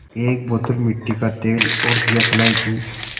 एक बोतल मिट्टी का तेल और दियासलाई की